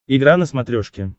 игра на смотрешке